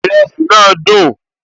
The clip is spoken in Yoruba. Ìrẹsì náà dùn